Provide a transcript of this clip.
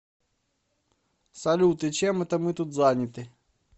салют и чем это мы тут заняты